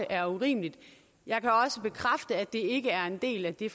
er urimeligt jeg kan også bekræfte at det ikke er en del af det